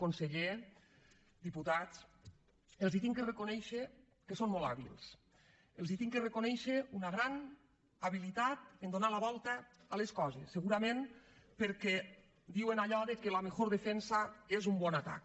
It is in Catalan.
conseller diputats els he de reconèixer que són molt hàbils els he de reconèixer una gran habilitat a donar la volta a les coses segurament perquè diuen allò que la mejor defensabon atac